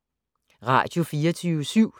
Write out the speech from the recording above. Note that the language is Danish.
Radio24syv